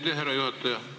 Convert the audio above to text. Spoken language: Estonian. Aitäh, härra juhataja!